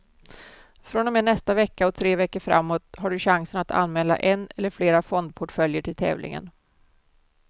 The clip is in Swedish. Från och med nästa vecka och tre veckor framåt har du chansen att anmäla en eller flera fondportföljer till tävlingen.